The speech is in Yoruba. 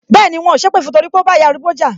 Bẹẹni, wọn ò sépè fún torí pé ó bá ìyá arúgbó jà